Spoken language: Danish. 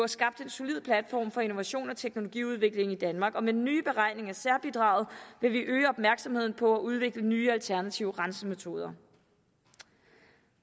skabt en solid platform for innovation og teknologiudvikling i danmark og med den nye beregning af særbidraget vil vi øge opmærksomheden på at udvikle nye alternative rensemetoder